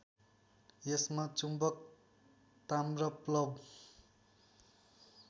यसमा चुम्बक ताम्रप्लव